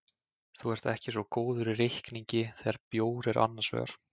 Þú ert ekki svo góður í reikningi þegar bjór er annars vegar.